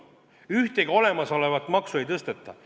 Ühtegi olemasolevat maksu ei tõsteta.